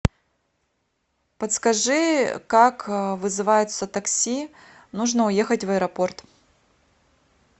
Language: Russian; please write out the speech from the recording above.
подскажи как вызывается такси нужно уехать в аэропорт